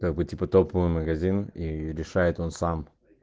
как бы типа топовый магазин и решает он сам